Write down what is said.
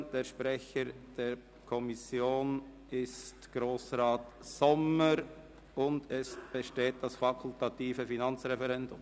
Der Sprecher der BaK ist Grossrat Sommer, und es besteht das fakultative Finanzreferendum.